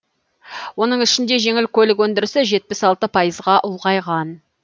оның ішінде жеңіл көлік өндірісі жетпіс алты пайызға ұлғайған